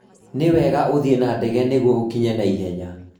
Nĩ wega ũthiĩ na ndege nĩguo ũkinye naihenya